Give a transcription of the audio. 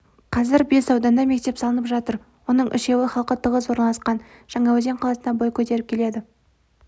қазір бес ауданда мектеп салынып жатыр оның үшеуі халқы тығыз орналасқан жаңаөзен қаласында бой көтеріп келеді